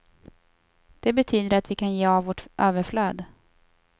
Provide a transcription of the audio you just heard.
Det betyder att vi kan ge av vårt överflöd.